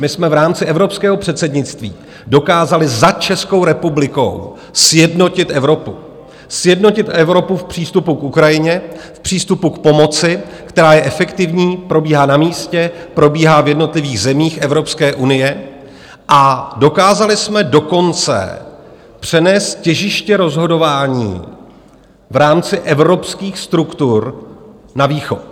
My jsme v rámci evropského předsednictví dokázali za Českou republikou sjednotit Evropu, sjednotit Evropu v přístupu k Ukrajině, v přístupu k pomoci, která je efektivní, probíhá na místě, probíhá v jednotlivých zemích Evropské unie, a dokázali jsme dokonce přenést těžiště rozhodování v rámci evropských struktur na Východ.